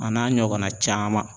A n'a ɲɔgɔnna caman